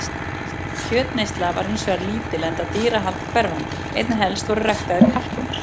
Kjötneysla var hins vegar lítil enda dýrahald hverfandi, einna helst voru ræktaðir kalkúnar.